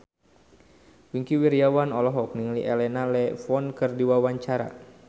Wingky Wiryawan olohok ningali Elena Levon keur diwawancara